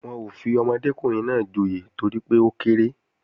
Wọn ò fi ọmọdékùnrin náà joyè torí pé ó kéré